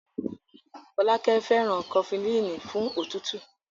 Fọlákẹ́ fẹ́ràn Kọfulíìnì fún òtútù.